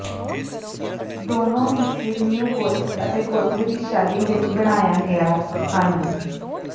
ਦੋਨੋ ਹਿੱਸੇ neo Gothic ਅਤੇ ਗੋਥਿਕ ਦੀ ਸ਼ੈਲੀ ਵਿੱਚ ਬਣਾਇਆ ਗਿਆ ਹਨ